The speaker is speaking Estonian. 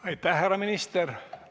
Aitäh, härra minister!